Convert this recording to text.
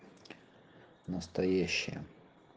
настоящая